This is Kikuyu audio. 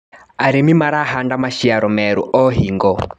Arĩmi marahanda maciaro merũ o hingo.